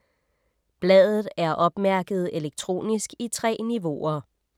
Bladet er opmærket elektronisk i 3 niveauer.